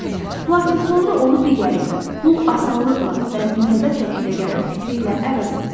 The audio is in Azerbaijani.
Lakin sonra onu digəri ilə, pul asanlıqla və müntəzəm şəkildə gəlir fikri ilə əvəz etdim.